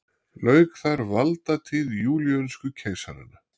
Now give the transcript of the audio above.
Lauk þar valdatíð júlíönsku keisaranna.